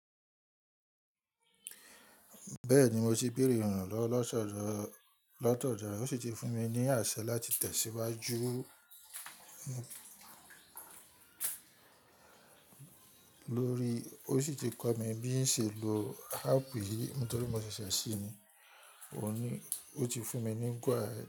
Bẹ́ẹ̀ni mo ti bèerè iranlowo latọ́dọ́-- lọ́tọ̀dọ́ re, ó sì ti fún mi ní àṣẹ láti tẹ̀síwájú lórí i, ó sì ti kọ́ mi bí n ṣe lè lo áàpù yìí nítorí mo ṣẹ̀ṣẹ̀ ṣí i ni, òní ó ti fún mi ní gó ahead.